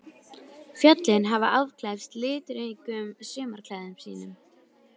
Fjöllin hafa afklæðst litríkum sumarklæðum sínum.